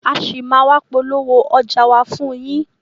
A ṣì máa a wá polówó ọjà wa fún yín.